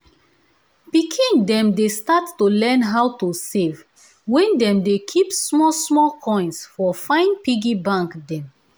pikin dem dey start to learn how to save wen dem dey keep small small coins for fine piggy bank dem.